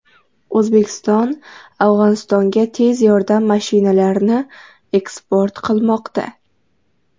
O‘zbekiston Afg‘onistonga tez yordam mashinalarini eksport qilmoqda.